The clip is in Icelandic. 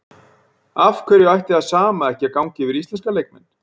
Af hverju ætti það sama ekki að ganga yfir íslenska leikmenn?